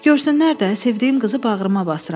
Görsünlər də, sevdiyim qızı bağrıma basıram.